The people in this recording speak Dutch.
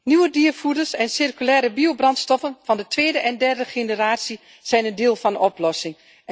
Nieuwe diervoeders en circulaire biobrandstoffen van de tweede en derde generatie zijn een deel van de oplossing!